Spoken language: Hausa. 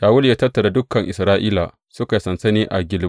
Shawulu ya tattara dukan Isra’ila suka yi sansani a Gilbowa.